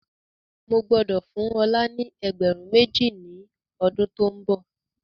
Mo gbọ́dọ̀ fún ọ̀la ni ẹgbẹ̀rún méjì ni ọdún to ń bọ̀.